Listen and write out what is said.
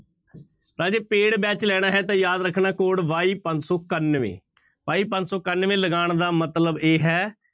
ਰਾਜੇ paid batch ਲੈਣਾ ਹੈ ਤਾਂ ਯਾਦ ਰੱਖਣਾ code y ਪੰਜ ਸੌ ਇਕਾਨਵੇਂ y ਪੰਜ ਸੌ ਇਕਾਨਵੇਂ ਲਗਾਉਣ ਦਾ ਮਤਲਬ ਇਹ ਹੈ,